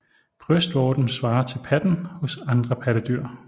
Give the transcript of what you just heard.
Brystvorten svarer til patten hos andre pattedyr